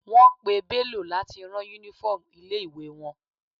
Wọ́n pè Bello láti rán uniform ilé ìwé wọn.